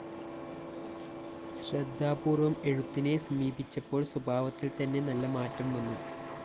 ശ്രദ്ധാപൂര്‍വ്വം എഴുത്തിനെ സമീപിച്ചപ്പോള്‍ സ്വഭാവത്തില്‍ തന്നെ നല്ല മാറ്റം വന്നു